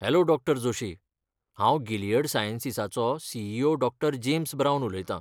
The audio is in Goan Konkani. हॅलो डॉ. जोशी. हांव गिलियड सायंसीसाचो सी.ई.ओ. डॉ. जेम्स ब्रावन उलयतां.